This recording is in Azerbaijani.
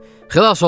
Xilas oldum!